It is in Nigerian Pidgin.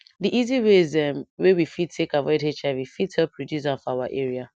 di easy ways ehm wey we fit take avoid hiv fit help reduce am for our area